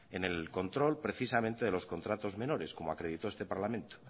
en el control precisamente de los contratos menores como acreditó este parlamento